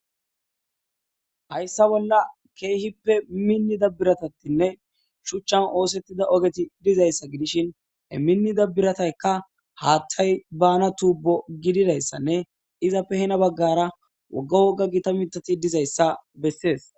Hayssa bolla keehippe minnida biratatinne shuchchan oosetida ogeti dizayssa gidishin he minnida biratayka haaththay baana tubbo gididaysanne izappe hena bagaara wogga wogga gita miththati dizayssa besees.